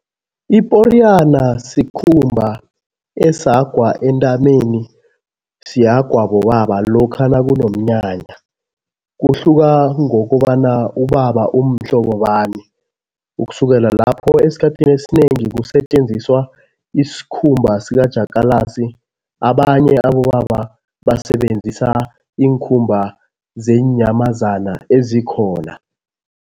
Iporiyana sikhumba esihagwa entameni, sihagwa bobaba lokha nakunomnyanya. Kuhluka ngokobana ubaba umhlobo bani. Ukusukela lapho esikhathini esinengi kusetjenziswa isikhumba sikajakalasi, abanye abobaba basebenzisa iinkhumba zeenyamazana ezikhona.